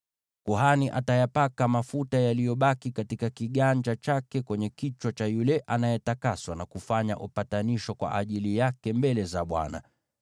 Kuhani atayapaka mafuta yaliyobaki katika kiganja chake kwenye kichwa cha yule anayetakaswa, na kufanya upatanisho kwa ajili yake mbele za Bwana .